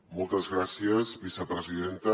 moltes gràcies vicepresidenta